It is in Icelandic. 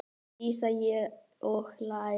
Dísa: Og læra.